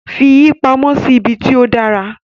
Fi pamọ́ sí ibi tí ó dára.